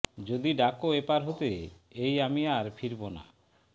যদি ডাকো এপার হতে এই আমি আর ফিরবো না